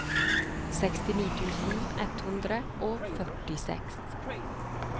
sekstini tusen ett hundre og førtiseks